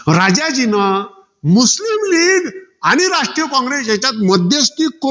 मग राजाजीनं, मुस्लीम leauge आणि राष्ट्रीय कॉंग्रेस याच्यात मध्यस्ती करून